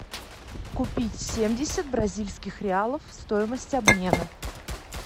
купить семьдесят бразильских реалов стоимость обмена